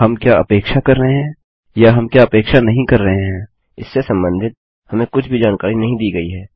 हम क्या अपेक्षा कर रहे हैं या हम क्या अपेक्षा नहीं कर रहे हैं इससे संबंधित हमें कुछ भी जानकारी नहीं दी गई है